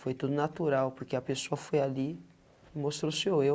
Foi tudo natural, porque a pessoa foi ali e mostrou seu eu,